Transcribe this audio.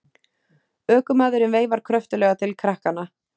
Ökumaðurinn veifar kröftuglega til krakkanna.